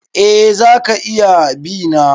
Eh za ka iya bi na.